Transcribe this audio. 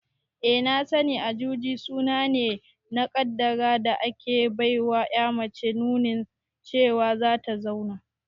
Eh na sani, Ajuji suna ne na kaddara da ake baiwa ƴa mace nunin cewa zata zauna